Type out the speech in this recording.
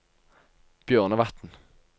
Bjørnevatn